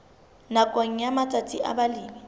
nakong ya matsatsi a balemi